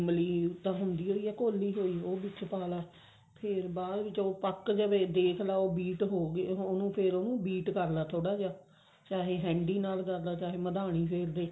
ਇਮਲੀ ਤਾਂ ਹੁੰਦੀ ਓ ਆ ਘੋਲੀ ਹੋਈ ਉਹ ਵਿੱਚ ਪਾ ਲਾ ਫ਼ੇਰ ਬਾਅਦ ਉਹ ਪੱਕ ਜਾਵੇ ਦੇਖਲਾ ਉਹ beat ਹੋਗੇ ਫ਼ੇਰ ਉਹਨੂੰ beat ਕਰ ਲਾ ਥੋੜਾ ਜਾ ਚਾਹੇ ਹਾਂਡੀ ਨਾਲ ਕਰਦੇ ਚਾਹੇ ਮਧਾਣੀ ਫ਼ੇਰ ਦੇ